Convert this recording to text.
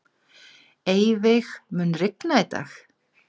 Eyveig, mun rigna í dag?